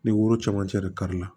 Ni woro camancɛ de kari la